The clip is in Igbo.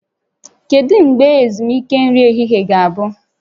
Kedu mgbe ezumike nri ehihie ga-abụ?